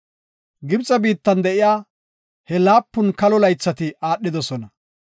Gibxe biittan de7iya he laapun kalo laythati aadhidosona.